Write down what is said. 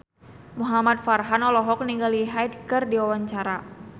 Muhamad Farhan olohok ningali Hyde keur diwawancara